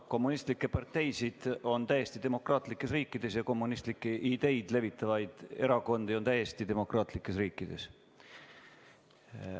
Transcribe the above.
Kommunistlikke parteisid on täiesti demokraatlikes riikides ja kommunistlikke ideid levitavaid erakondi on täiesti demokraatlikes riikides.